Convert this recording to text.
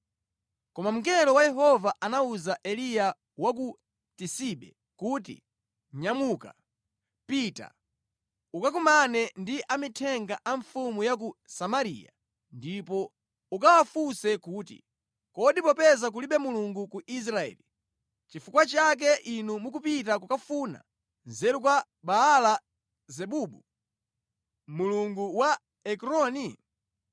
Koma mngelo wa Yehova anawuza Eliya wa ku Tisibe kuti, “Nyamuka, pita ukakumane ndi amithenga a mfumu ya ku Samariya ndipo ukawafunse kuti, ‘Kodi popeza kulibe Mulungu ku Israeli, nʼchifukwa chake inu mukupita kukafunsa nzeru kwa Baala-zebubu, mulungu wa ku Ekroni?’